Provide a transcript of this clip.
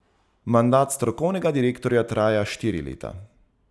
Mandat strokovnega direktorja traja štiri leta.